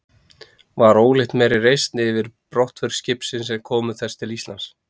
Var ólíkt meiri reisn yfir brottför skipsins en komu þess til Íslands.